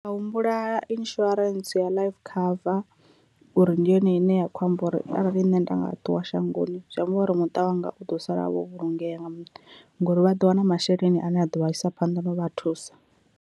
Ndi a humbula insurance ya life cover uri ndi yone ine ya kho amba uri arali nṋe nda nga ṱuwa shangoni zwi amba uri muṱa wanga u ḓo sala Wo vhulungea nga mannḓa ngori vha ḓo wana masheleni ane a ḓo vha isa phanḓa na u vha thusa.